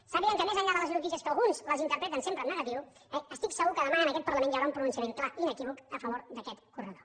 sàpiguen que més enllà de les notícies que alguns les interpreten sempre en negatiu estic segur que demà en aquest parlament hi haurà un pronunciament clar i inequívoc a favor d’aquest corredor